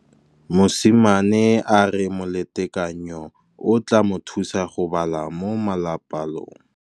Mosimane a re molatekanyô o tla mo thusa go bala mo molapalong.